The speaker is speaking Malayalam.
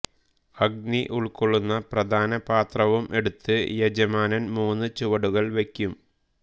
അഗ്നി ഉൾക്കൊള്ളുന്ന പ്രധാനപാത്രവും എടുത്ത് യജമാനൻ മൂന്ന് ചുവടുകൾ വെക്കും